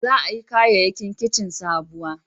Za a yi kayayyakin kici sabuwa